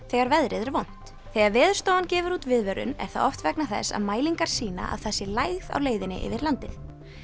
þegar veðrið er vont þegar Veðurstofan gefur út viðvörun er það oft vegna þess að mælingar sýna að það sé lægð á leiðinni yfir landið